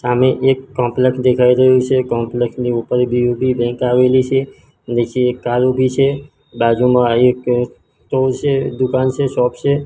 સામે એક કોમ્પલેક્ષ દેખાય રહ્યુ છે કોમ્પલેક્ષ ની ઉપર બી_ઓ_બી બેંક આવેલી છે નીચે એક કાર ઉભી છે બાજુમાં એક સ્ટોર છે દુકાન છે શોપ છે.